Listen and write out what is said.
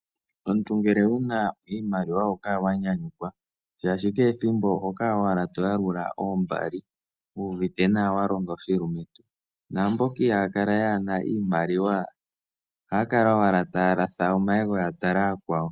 Omuntu ngele wuna iimaliwa oho kala wanyanyukwa shaashi kehethimbo oho kala owala toyalula oombali wu uvite nawa walonga oshilumentu, naamboka iihakala yaana iimaliwa ohaya kala owala taya latha omayego yatala ooyakwawo.